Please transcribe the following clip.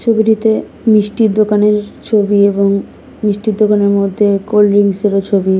ছবিটিতে মিষ্টির দোকানের ছবি এবং মিষ্টির দোকানের মধ্যে কোল্ড্রিংস এরও ছবি।